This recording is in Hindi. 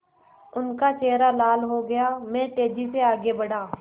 उनका चेहरा लाल हो गया मैं तेज़ी से आगे बढ़ा